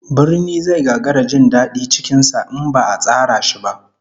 Birni zai gagara jin dadi cikin sa in ba'a tsara shi ba